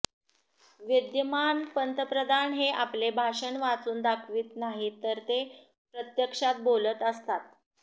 विद्यमान पंतप्रधान हे आपले भाषण वाचून दाखवित नाहीत तर ते प्रत्यक्षात बोलत असतात